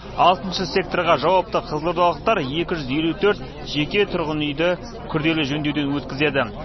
алтыншы секторға жауапты қызылордалықтар екі жүз елу төрт жеке тұрғын үйді күрделі жөндеуден өткізеді